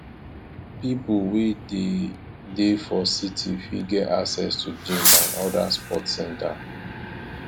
pipo wey dey dey for city fit get access to gym and oda sport center